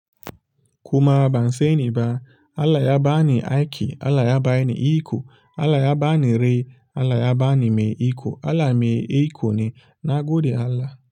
Kuma ban sani ba, Allah ya ba ni aiki, Allah ya ba ni iko, Allah ya ba ni rai, Allah ya ba ni mai iko, Allah mai iko ne na gode Allah.